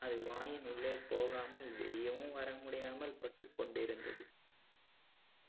அது வாயின் உள்ளே போகாமல் வெளியவும் வரமுடியாமல் பட்டுக்கொண்டிருந்தது